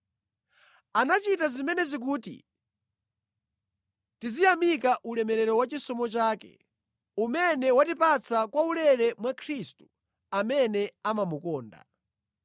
Anachita zimenezi kuti tiziyamika ulemerero wa chisomo chake, umene watipatsa kwaulere mwa Khristu amene amamukonda.